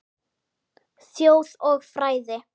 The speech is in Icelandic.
Þjóð og fræði